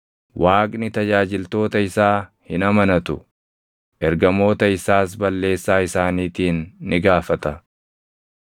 Waaqni tajaajiltoota isaa hin amanatu; ergamoota isaas balleessaa isaaniitiin ni gaafata;